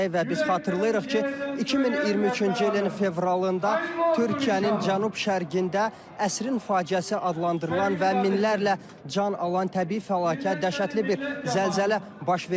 Və biz xatırlayırıq ki, 2023-cü ilin fevralında Türkiyənin cənub-şərqində əsrin faciəsi adlandırılan və minlərlə can alan təbii fəlakət, dəhşətli bir zəlzələ baş vermişdi.